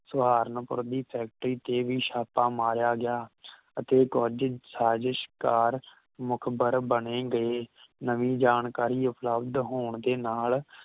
ਸਹਾਰਨਪੁਰ ਦੀ ਫੈਕਟਰੀ ਤੇ ਵੀ ਛਾਪਾ ਮਾਰਿਆ ਗਿਆ ਅਤੇ ਕੁਝ ਸਾਜਿਸ਼ਕਾਰ ਮੁਖਬਰ ਬਣੇ ਗਏ ਨਵੀਂ ਜਾਣਕਾਰੀ ਉਪਲਬਧ ਹੋਣ ਦੇ ਨਾਲ